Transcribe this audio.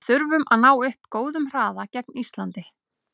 Við þurfum að ná upp góðum hraða gegn Íslandi.